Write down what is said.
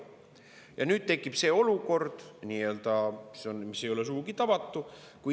Ja nüüd tekib see olukord, mis ei ole sugugi tavatu.